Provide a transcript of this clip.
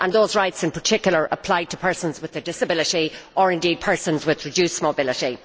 Those rights, in particular, apply to persons with a disability, or indeed, persons with reduced mobility.